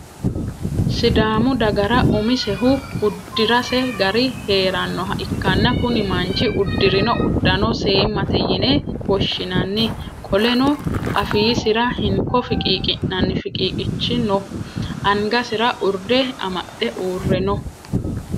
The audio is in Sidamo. Sidaamu dagara umisehu udirase gari heeranoha ikanna kunni manchi udirino udanno seemate yinne woshinnanni. Qoleno afiisira hinko fiqiiqi'nanni fiqiiqaanchi no angasira urde amaxe uure no.